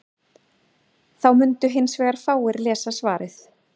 þá mundu hins vegar fáir lesa svarið